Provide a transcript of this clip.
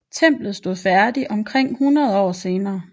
Templet stod færdigt omkring 100 år senere